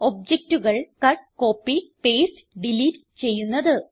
ഒബ്ജക്റ്റുകൾ cut copy paste delete ചെയ്യുന്നത്